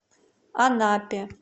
анапе